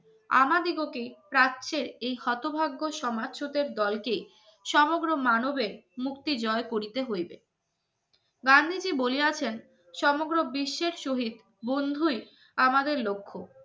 আমাদিগকে প্রাচ্যের এই হতভাগ্য সমাজ্রোতের দলকে সমগ্র মানবের মুক্তি জয় করিতে হইবে আছেন সমগ্র বিশ্বের শহীদ বন্ধুই আমাদের লক্ষ